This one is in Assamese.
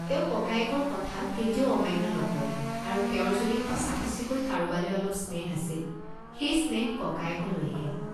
তেওঁ ককায়েকৰ কথা কেতিয়াও অমান্য নকৰে আৰু তেওঁৰ যদি সঁচাসঁচিকৈ কাৰোবালৈ অলপ স্নেহ আছিল, সেই স্নেহ ককায়ৈকলৈহে।